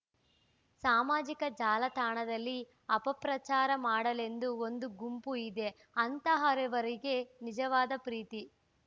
ಸಾಮಾಜಿಕ ಜಾಲತಾಣದಲ್ಲಿ ಅಪಪ್ರಚಾರ ಮಾಡಲೆಂದೇ ಒಂದು ಗುಂಪು ಇದೆ ಅಂತಹವರಿಗೆ ನಿಜವಾದ ಪ್ರೀತಿ